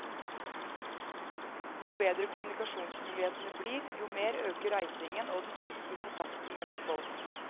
Jo bedre kommunikasjonsmulighetene blir, jo mer øker reisingen og den fysiske kontakten mellom folk.